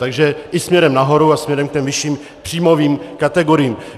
Takže i směrem nahoru a směrem k těm vyšším příjmovým kategoriím.